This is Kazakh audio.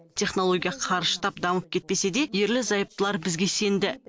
технология қарыштап дамып кетпесе де ерлі зайыптылар бізге сенді